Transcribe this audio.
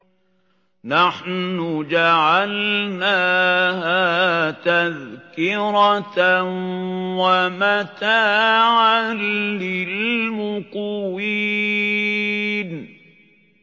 نَحْنُ جَعَلْنَاهَا تَذْكِرَةً وَمَتَاعًا لِّلْمُقْوِينَ